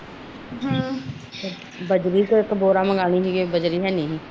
ਬਜਰੀ ਦਾ ਬੋਰਾ ਲਿਆ ਸੀਗਾ ਬਜਰੀ ਹੈਨੀ ਸੀ